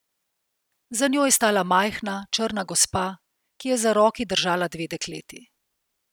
Za njo je stala majhna, črna gospa, ki je za roki držala dve dekleti.